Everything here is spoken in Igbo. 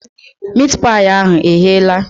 Miit paị ahụ egheela?